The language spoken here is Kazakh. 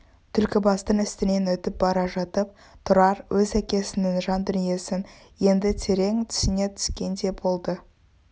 түлкібастың үстінен өтіп бара жатып тұрар өз әкесінің жан дүниесін енді терең түсіне түскендей болды